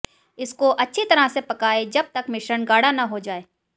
इसको अच्छी तरह से पकाएं जब तक मिश्रण गाढ़ा न हो जाए